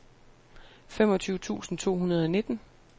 femogtyve tusind to hundrede og nitten